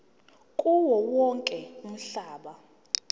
kuwo wonke umhlaba